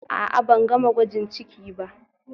A'a, ban gama gwajin ciki ba